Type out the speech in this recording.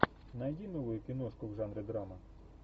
найди новую киношку в жанре драма